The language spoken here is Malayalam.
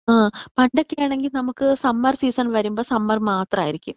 ആ പണ്ടൊക്കെയാണെങ്കി നമ്മുക്ക് സമ്മർ സീസൺ വരുമ്പോ സമ്മർ മാത്രമായിരിക്കും.